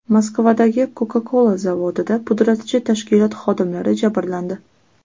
Moskvadagi Coca-Cola zavodida pudratchi tashkilot xodimlari jabrlandi.